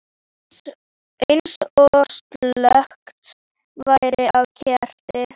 Eins og slökkt væri á kerti.